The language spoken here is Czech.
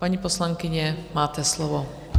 Paní poslankyně, máte slovo.